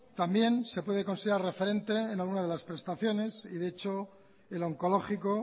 también se puede considerar referente en alguna de las prestaciones y de hecho el onkologiko